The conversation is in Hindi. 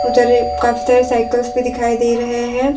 उधर ये काफी सारे साइकल्स भी दिखाई दे रहे हैं।